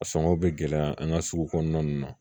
A sɔngɔ bɛ gɛlɛya an ka sugu kɔnɔna nunnu na